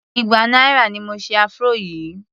igba náírà ni mo se afro yìí.